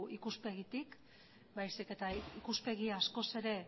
ikuspegitik baizik eta ikuspegi askoz ere